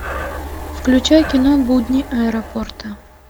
включай кино будни аэропорта